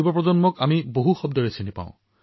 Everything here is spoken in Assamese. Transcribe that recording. এনে যুৱচামক আজি বহু শব্দেৰে অভিহিত কৰা হয়